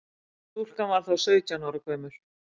Stúlkan var þá sautján ára gömul